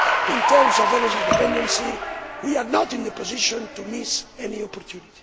In terms of energy dependency, we are not in the position to miss any opportunity.